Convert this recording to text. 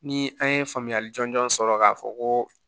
Ni an ye faamuyali jɔnjɔn sɔrɔ k'a fɔ ko